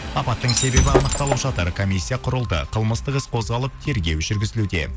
апаттың себебі анықталып жатыр комиссия құрылды қылмыстық іс қозғалып тергеу жүргізілуде